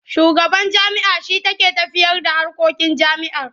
Shugaban jami'a shi take tafiyarda harkokin jami'ar.